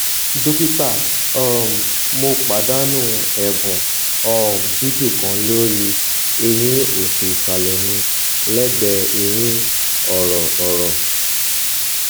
dókítà um mo pàdánù ẹbùn um dídùn kan lórí eyín òsì ìsàlè mi lẹgbèé eyín ọrọ ọrọ